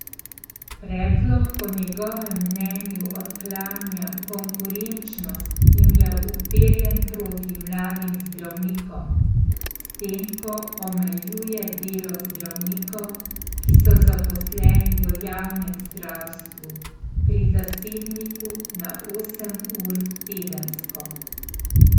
Predlog po njegovem mnenju odklanja konkurenčnost in je uperjen proti mladim zdravnikom, s tem ko omejuje delo zdravnikov, ki so zaposleni v javnem zdravstvu, pri zasebniku na osem ur tedensko.